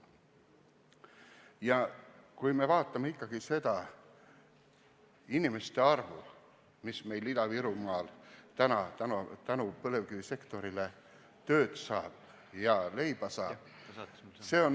Ja vaatame ikkagi nende inimeste arvu, kes Ida-Virumaal praegu tänu põlevkivisektorile tööd ja leiba saavad.